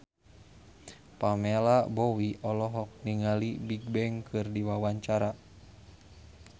Pamela Bowie olohok ningali Bigbang keur diwawancara